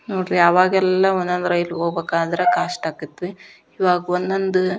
ನೋಡ್ರಿ ಅವಾಗ ಒಂದೊಂದ್ ರೈಲ್ ಹೋಗಬೇಕಂದ್ರ ಕಷ್ಟಾಗತಿತ್ತು ಈವಾಗ ಒಂದೊಂದ್.